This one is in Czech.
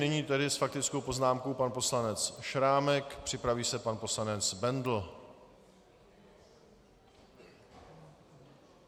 Nyní tedy s faktickou poznámkou pan poslanec Šrámek, připraví se pan poslanec Bendl.